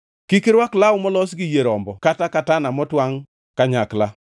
Kik irwak law molos gi yie rombo kod katana motwangʼ kanyakla.